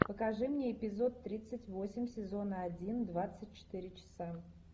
покажи мне эпизод тридцать восемь сезона один двадцать четыре часа